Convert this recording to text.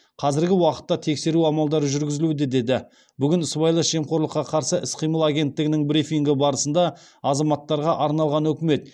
қазіргі уақытта тексеру амалдары жүргізілуде деді бүгін сыбайлас жемқорлыққа қарсы іс қимыл агенттігінің брифингі барысында азаматтарға арналған үкімет